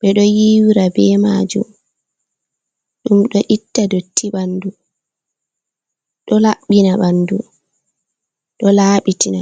ɓeɗo yiwira be majum, ɗum ɗo itta dotti ɓandu, ɗo laɓɓina ɓandu ɗo laɓitina.